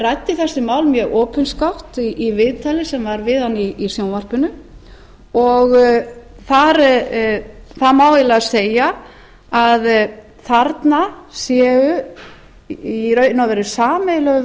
ræddi þessi mál mjög opinskátt í viðtali sem var við hann í sjónvarpinu og það má eiginlega segja að þarna sé í raun og veru sameiginlegur